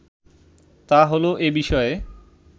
তা হলো এ বিষয়ে